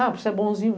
Ah, por ser bonzinho?